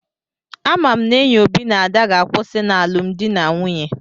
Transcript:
Ama m n'enyi Obi na Ada ga-akwụsị n'alụmdi na nwunye.